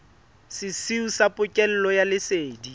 sesiu sa pokello ya lesedi